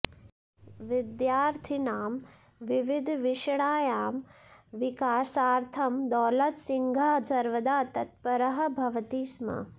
विद्यार्थिनां विविधविषयाणां विकासार्थं दौलतसिंहः सर्वदा तत्परः भवति स्म